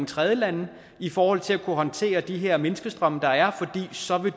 tredjelande i forhold til at kunne håndtere de her menneskestrømme der er fordi så vil